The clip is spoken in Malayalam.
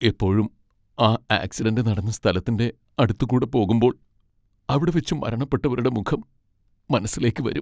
എപ്പോഴും ആ ആക്സിഡന്റ് നടന്ന സ്ഥലത്തിൻ്റെ അടുത്ത് കൂടെ പോകുമ്പോൾ അവിടെവെച്ച് മരണപ്പെട്ടവരുടെ മുഖം മനസ്സിലേക്ക് വരും.